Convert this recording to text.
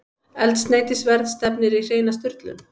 Eldsneytisverð stefnir í hreina sturlun